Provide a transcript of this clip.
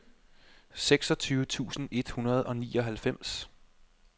seksogtyve tusind et hundrede og nioghalvfems